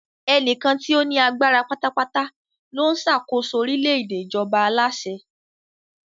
Ẹnìkan tí ó ní agbára pátápátá ló ń ṣàkóso orílẹ̀-èdè ìjọba aláṣẹ.